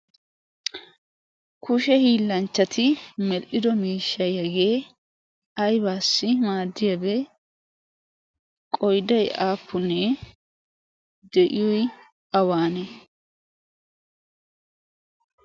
kushe hiillanchchati medhdhido miishshayyaagee aybaassi maaddiyaabee qoyday aappunnee de'iyoy awaane